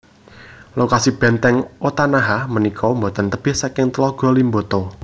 Lokasi Bèntèng Otanaha punika boten tebih saking Tlaga Limboto